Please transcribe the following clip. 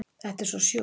Þetta er svo sjúkt